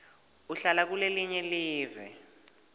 uhlala kulelinye live